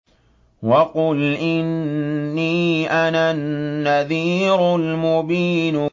وَقُلْ إِنِّي أَنَا النَّذِيرُ الْمُبِينُ